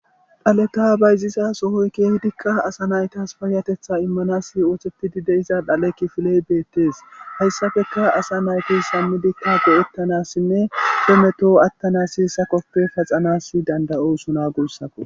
Dhaleta bayziza sohoy keehidikka asa naytas paayatetha immanas oothettidi deiza dhale kifiley beettes hayssafeka asa nayti sammidikka bo'ettanassinne tometo attana siissa koppe paxanas dandayo suna guussakko